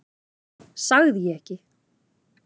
Sagði ég ekki?